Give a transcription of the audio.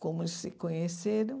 Como eles se conheceram?